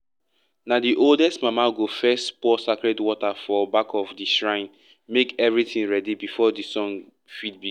na the oldest mama go first pour sacred water for back of the shrine make everything ready before the song fit begin.